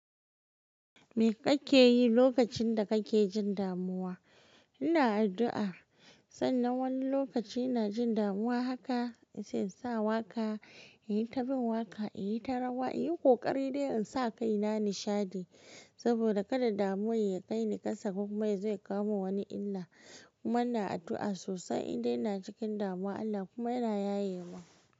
Me kake yi lokacin da kake jin damuwa? Ina addu'a, sannan wani lokaci ina jin damuwa haka sai in sa waka, in yi ta bin waka, in yi ta rawa, in yi ƙoƙari dai in sa kaina nishadi saboda kada damun ya kai ni kasa. Kuma yazo ya kawo mun wani illa. Kuma ina addu'a sosai idau ina cikin damuwa, Allah kuma yana yaye mun.